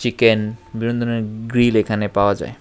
Can বিভিন্ন ধরনের grill এখানে পাওয়া যায়।